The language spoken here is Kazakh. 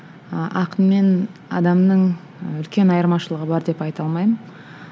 ы ақын мен адамның ы үлкен айырмашылығы бар деп айта алмаймын